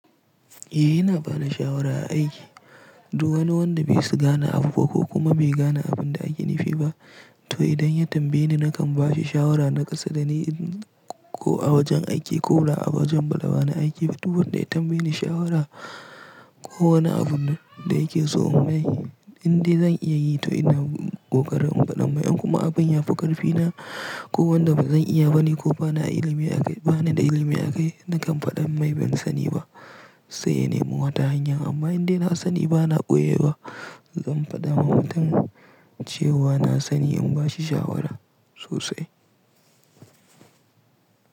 Eh, ina ba da shawara a aiki. Du wani wanda bai su gane abu ba ko kuma bai gane abin da ake nufi ba. To idan ya tambaye ni nakan ba shi shawara naƙasa da ni ko a wajen aiki ko ba a wajen bana aiki ba. Duk wanda ya tambaye ni shawara ko wani abun da yake so in yi, inda zan iya yi to ina kokarin faɗan mai. In kuma abin ya fi ƙarfi na ko wanda ban zan iya ba ne ko bani ilimi akai ba na da ilimi a kai, nakan faɗa mai ban sani ba. Sai in nemi wata hanya. Amma inda ina sani ba na ɓoye wa. Zan faɗa wa mutum cewa na sani in ba shi shawara sosai.